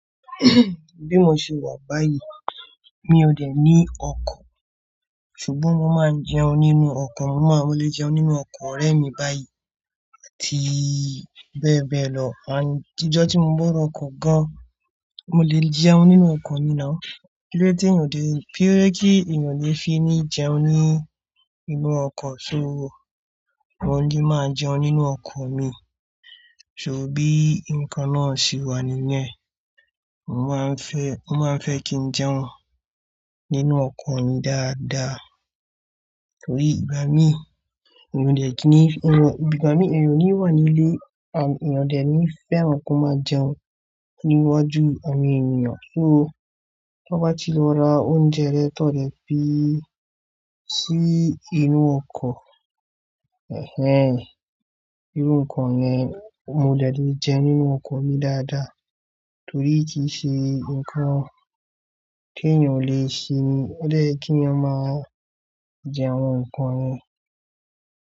Bí mo ṣe wà báyìí mi ò dè ní ọkọ̀, ṣùgbọ́n mo máa n jẹun nínú ọkọ̀, mo máa lè jẹun nínú ọkọ̀ ọ̀rẹ́ mi báyìí àti bẹ́ẹ̀ bẹ́ẹ̀ lọ. Àń, ìjọ́ tí mo ń wó ọkọ̀ gan-an, mo lè jẹun nínú ọkọ̀ ni now Kílóde tí èyàn ò de, kílodẹ́ kí èyàn lè fi ní jẹun ní inú ọkọ̀ ṣó, mo lè máa jẹun nínú ọkọ̀ mi. Ṣòó bí nǹkan náà ṣe wà níyen, mo máa ń fẹ́, mo máa ń fẹ́ kí n jẹun nínú ọkọ̀ mi dáadáa. Torí ìgbá mii, èyàn ò dè kí n ní, ìwọ, ìgbá mi èèyàn ò ní wà nílẹ̀, àn èyàn ò dè ní fẹ́ràn kọ́ máa jẹun níwájú àwọn èniyàn. Sóó tonbá ti lọ ra oúnjẹ rẹ tó lè pín sí inú ọkọ̀, ẹ̀ẹ́, irú nǹkan yen mo dè lè jẹ nínú ọkọ̀ mi dáadáa. Torí kì í ṣe nǹkan teyàn ò leè ṣe ni, ó dè ye kíyań máa jẹ àwọn nǹkan ni.